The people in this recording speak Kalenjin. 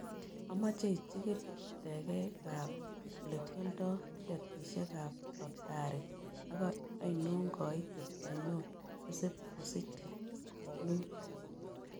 Amoche ichikiil teekikap olekyalndo tiketisiekap lotari ak ainon kaiitet ainon nesipkosiche k??nuut